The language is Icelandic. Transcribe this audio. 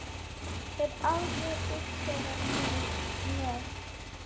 Hef aldrei þurft þeirra með.